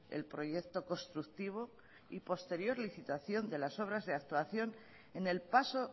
el proyecto constructivo y posterior licitación de las obras de actuación en el paso